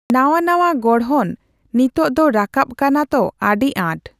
ᱱᱟᱣᱟᱼᱱᱟᱣᱟ ᱜᱚᱲᱦᱚᱱ ᱱᱤᱛᱳᱜ ᱫᱚ ᱨᱟᱠᱟᱵ ᱠᱟᱱᱟ ᱛᱚ ᱟᱹᱰᱤᱟᱸᱴ᱾